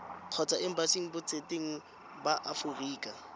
kgotsa embasing botseteng ba aforika